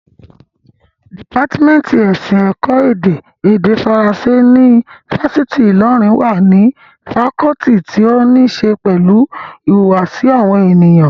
Dìpátímẹ́ǹtì ẹ̀sìn, ẹ̀kọ́ èdè, èdè faransé ní ifásitì Ìlọrin wà ní fakọọti tí ó ní ṣe pẹ̀lú ìhùwàsí àwọn ènìyàn